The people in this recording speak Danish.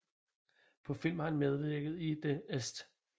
På film har han medvirket i The St